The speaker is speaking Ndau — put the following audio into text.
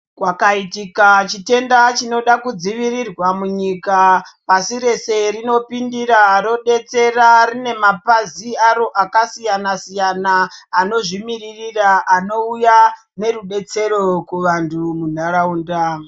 Kwakaitika chitenda chinoda kudzivirwa munyika pasi rese rinopindira rodetsera, rine mapazin aro akasiyana-siyana anozvimirira anouya nerubetsero kuvantu munharaunda.